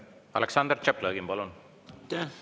Aleksandr Tšaplõgin, palun!